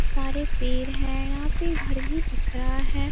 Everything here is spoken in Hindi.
सारे पेड़ हैं यहाँ पे घर भी दिख रहा है।